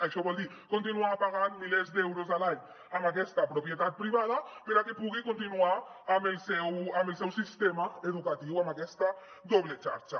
això vol dir continuar pagant milers d’euros a l’any a aquesta propietat privada perquè pugui continuar amb el seu sistema educatiu amb aquesta doble xarxa